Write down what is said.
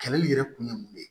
Kɛlɛ nin yɛrɛ kun ye mun ye